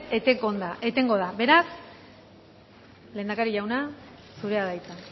etengo da beraz lehendakari jauna zurea da hitza